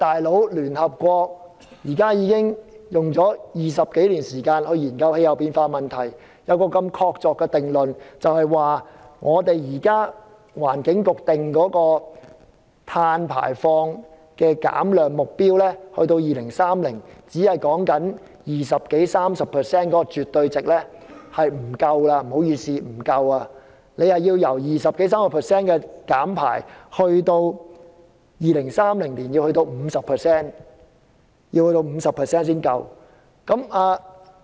"老兄"，聯合國花了20多年時間研究氣候變化，得出這個確鑿定論，就是聯合國環境規劃署現時所訂定的碳排放減量目標，即在2030年減低百分之二十多三十的絕對值是絕不夠的，而必須在2030年減低 50% 才足夠。